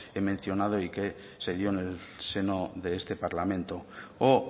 he mencionado y se dio en el seno de este parlamento o